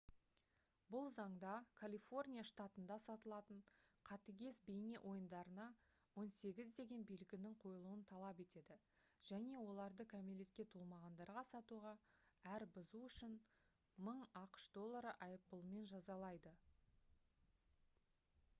бұл заңда калифорния штатында сатылатын қатыгез бейне ойындарына «18» деген белгінің қойылуын талап етеді және оларды кәмелетке толмағандарға сатуға әр бұзу үшін $1000 айыппұлымен жазалайды